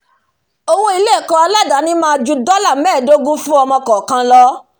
owó ilé ẹ̀kọ́ aládàáni máá ju dọ́là mẹ́ẹ̀dógún fún ọmọ kọ̀ọ̀kan lọ